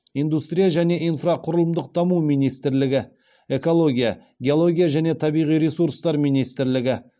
индустрия және инфрақұрылымдық даму министрлігі экология геология және табиғи ресурстар министрлігі